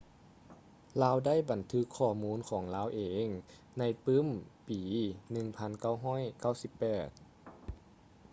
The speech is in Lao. ລາວໄດ້ບັນທຶກຂໍ້ມູນຂອງລາວເອງໃນປື້ມປີ 1998